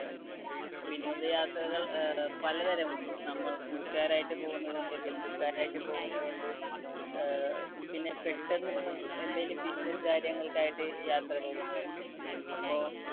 വിനോദയാത്രകൾ അഹ് പലതരമുണ്ട്. നമ്മൾ കൂട്ടുകാരായിട്ട് പോകുന്നതുണ്ട്, ബന്ധുക്കളായിട്ട് പോകുന്നതുണ്ട്, അഹ് പിന്നെ പെട്ടെന്ന് എന്തെങ്കിലും business കാര്യങ്ങൾക്കായിട്ട് യാത്ര പോകുന്നവരുണ്ട്. അപ്പോ